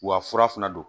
Wa fura fana don